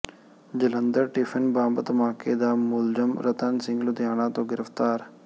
Jalandhar tiffin bomb ਧਮਾਕੇ ਦਾ ਮੁਲਜ਼ਮ ਰਤਨ ਸਿੰਘ ਲੁਧਿਆਣਾ ਤੋਂ ਗ੍ਰਿਫ਼ਤਾਰ